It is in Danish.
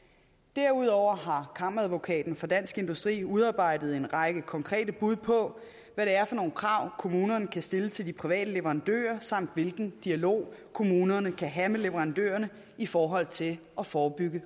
derudover har kammeradvokaten for dansk industri udarbejdet en række konkrete bud på hvad det er for nogle krav kommunerne kan stille til de private leverandører samt hvilken dialog kommunerne kan have med leverandørerne i forhold til at forebygge